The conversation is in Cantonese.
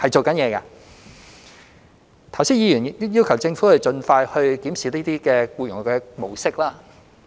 剛才議員要求政府盡快檢視這些僱用模式。